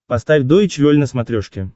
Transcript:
поставь дойч вель на смотрешке